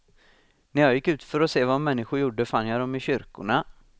När jag gick ut för att se vad människor gjorde fann jag dem i kyrkorna.